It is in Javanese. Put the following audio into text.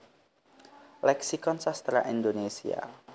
Leksikon Sastra Indonesia